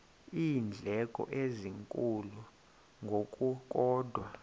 iindleko ezinkulu ngokukodwa